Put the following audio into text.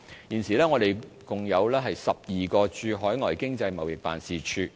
現時我們共有12個駐海外經濟貿易辦事處。